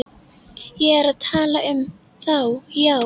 Ég er að tala um þá, já.